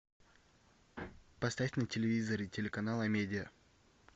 поставь на телевизоре телеканал амедиа